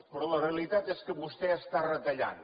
però la realitat és que vostè està retallant